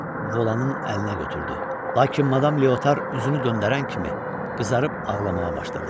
Yenə də Volanın əlinə götürdü, lakin madam Leotar üzünü döndərən kimi qızarıb ağlamağa başladı.